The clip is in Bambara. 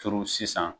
Turu sisan